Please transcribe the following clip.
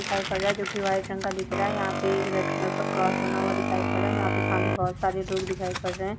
--दिखाई पड़ रहा है जो की वाइट रंग का दिख रहा है यहाँ पे एक रेड कलर का क्रॉस बना हुआ दिखाई पड़ रहा है यहाँ पे सामने बहुत सारे लोग दिखाई पड़ रहे हैं।